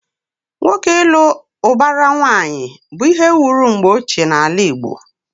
Nwoke ịlụ ụbara nwaanyị bụ ihe wuru mgbe ochie n'ala Igbo.